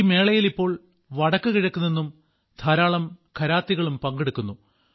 ഈ മേളയിൽ ഇപ്പോൾ വടക്കുകിഴക്കു നിന്നും ധാരാളം ഘരാത്തികളും പങ്കെടുക്കുന്നു